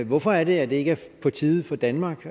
hvorfor er det at det ikke er på tide for danmark